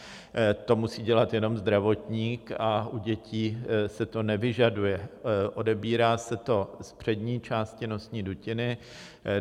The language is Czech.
To musí dělat jenom zdravotník a u dětí se to nevyžaduje, odebírá se to z přední části nosní dutiny.